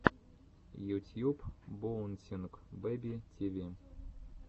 ютьюб боунсинг бэби ти ви